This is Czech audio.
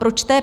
Proč té